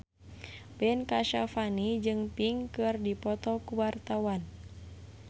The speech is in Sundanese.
Ben Kasyafani jeung Pink keur dipoto ku wartawan